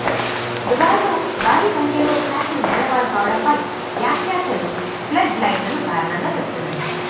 దుబాయ్లో భారీ సంఖ్యలో క్యాచులు నేలపాలు కావటంపై వ్యాఖ్యాతలు ఫ్లడ్ లైట్లను కారణంగా చెబుతున్నారు